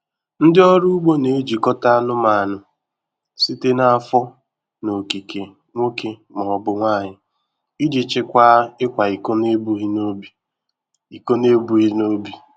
Ndị ọrụ ugbo na-ejikọta anụmanụ site na afọ na okike nwoke ma ọ bụ nwanyị iji chịkwaa ịkwa iko n'ebughị n'obi. iko n'ebughị n'obi.